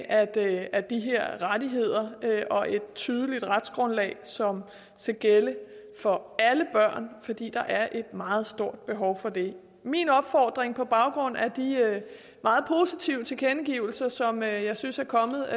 af de her rettigheder og et tydelig retsgrundlag som skal gælde for alle børn fordi der er meget stort behov for det min opfordring på baggrund af de meget positive tilkendegivelser som jeg synes er kommet